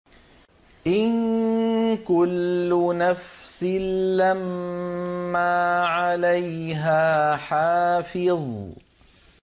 إِن كُلُّ نَفْسٍ لَّمَّا عَلَيْهَا حَافِظٌ